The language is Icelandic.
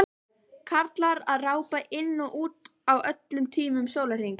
Karlar að rápa inn og út á öllum tímum sólarhrings.